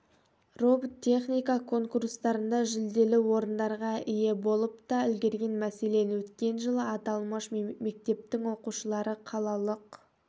роботехника конкурстарында жүлделі орындарға ие болып та үлгерген мәселен өткен жылы аталмыш мектептің оқушылары қалалық